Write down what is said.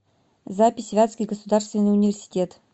запись вятский государственный университет